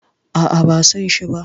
A'a, ban sanshi ba.